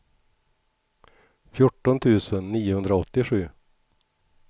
fjorton tusen niohundraåttiosju